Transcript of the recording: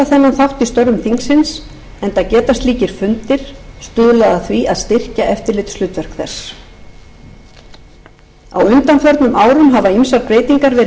í störfum alþingis enda geta slíkir fundir stuðlað að því að styrkja eftirlitshlutverk þess á undanförnum árum hafa ýmsar breytingar verið